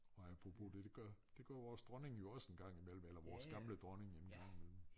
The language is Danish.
Og apropos det det gør det gør vores dronning jo også en gang imellem eller vores gamle dronning en gang imellem